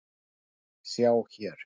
sjá hér!